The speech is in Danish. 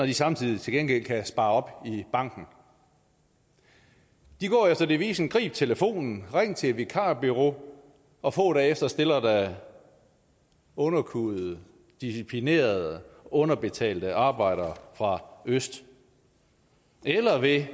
de samtidig til gengæld kan spare op i banken de går efter devisen grib telefonen ring til et vikarbureau og få dage efter stiller der underkuede disciplinerede underbetalte arbejdere fra øst eller ved